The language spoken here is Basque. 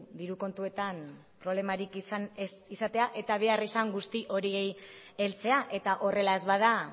diru kontuetan problemarik izan ez izatea eta behar izan guzti horiei heltzea eta horrela ez bada